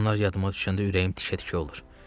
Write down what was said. onlar yadıma düşəndə ürəyim tikə-tikə olur.